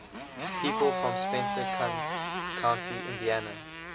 people from spencer county indiana